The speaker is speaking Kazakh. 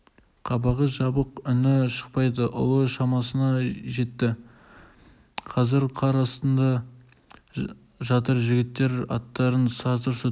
қабағы жабық үні шықпайды ұлы шамасында жетті қазір қар астында жатыр жігіттер аттарынан сатыр-сұтыр